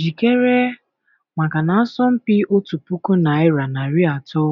Jikere maka na asọmpi otu puku naịra narị atọ